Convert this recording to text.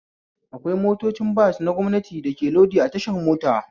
Akwai motocin bas na gwamnati da ke lodi a tashar mota